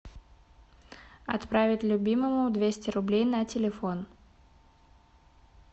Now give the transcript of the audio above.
отправить любимому двести рублей на телефон